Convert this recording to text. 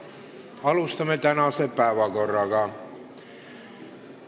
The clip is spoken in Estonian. Alustame tänase päevakorra punktide käsitlemist.